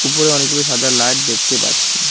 ওপরে অনেকগুলি সাদা লাইট দেখতে পাচ্ছি।